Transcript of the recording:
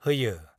होयो।